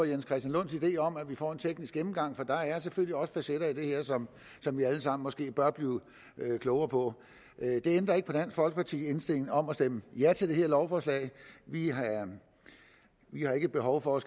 jens christian lunds idé om at vi får en teknisk gennemgang for der er selvfølgelig også facetter i det her som som vi alle sammen måske bør blive klogere på det ændrer ikke på dansk folkepartis indstilling om at stemme ja til det her lovforslag vi har ikke behov for at